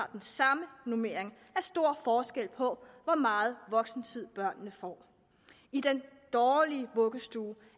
den samme normering er stor forskel på hvor meget voksentid børnene får i den dårlige vuggestue